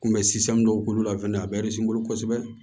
Kunbɛ sisan dɔw k'olu la fɛnɛ a bɛ n bolo kosɛbɛ